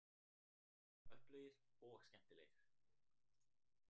Öflugir og skemmtilegir